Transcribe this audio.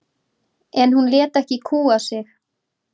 En hún lét ekki kúga sig.